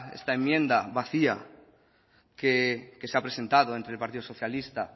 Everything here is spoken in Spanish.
esta enmienda vacía que se ha presentado entre el partido socialista